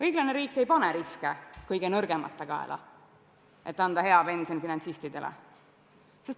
Õiglane riik ei pane riske kõige nõrgemate kaela, et võimaldada hea pension finantsistidele.